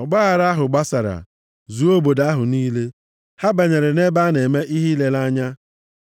Ọgbaaghara ahụ gbasara, zuo obodo ahụ niile. Ha banyere nʼebe a na-eme ihe ileleanya,